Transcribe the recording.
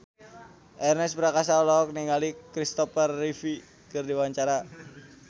Ernest Prakasa olohok ningali Kristopher Reeve keur diwawancara